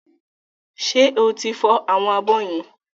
Ṣẹ́ o ti fọ àwọn abọ́ yẹn?